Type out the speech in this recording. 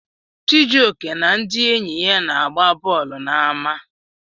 Chijioke na ndị enyi ya na-agba bọọlụ n'ama.